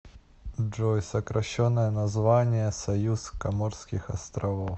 джой сокращенное название союз коморских островов